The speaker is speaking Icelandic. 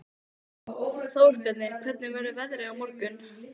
Þórbjarni, hvernig verður veðrið á morgun?